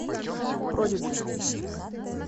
продиджи